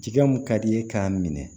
Jɛgɛ mun ka di ye k'a minɛ